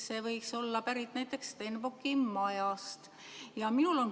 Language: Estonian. See võiks pärit olla näiteks Stenbocki majast.